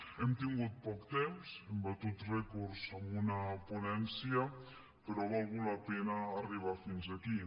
hem tingut poc temps hem batut rècords en un ponència però ha valgut la pena arribar fins aquí